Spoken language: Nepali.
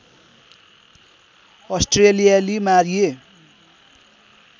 अस्ट्रेलियाली मारिए